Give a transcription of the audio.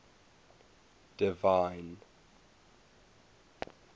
divine